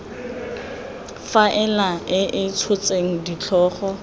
faela e e tshotseng ditlhogo